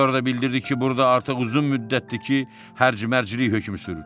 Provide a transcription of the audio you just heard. Sonra da bildirdi ki, burda artıq uzun müddətdir ki, hərc-məclik hökmü sürür.